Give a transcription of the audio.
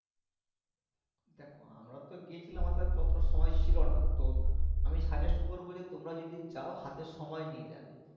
দেখো আমরা তো গেছিলাম হাতে ততটা সময় ছিল না তো আমি suggest করবো যে তোমরা যদি যাও হাতে সময় নিয়ে যাবে